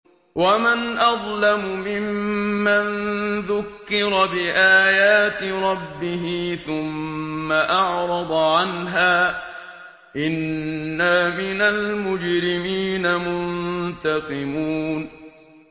وَمَنْ أَظْلَمُ مِمَّن ذُكِّرَ بِآيَاتِ رَبِّهِ ثُمَّ أَعْرَضَ عَنْهَا ۚ إِنَّا مِنَ الْمُجْرِمِينَ مُنتَقِمُونَ